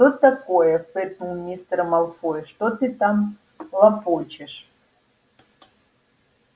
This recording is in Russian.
что такое фыркнул мистер малфой что ты там лопочешь